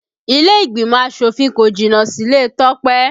Ilé ìgbìmọ̀ asòfin kò jìnnà síle Tope